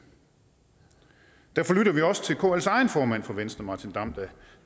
derfor lytter vi også til kls egen formand fra venstre martin damm der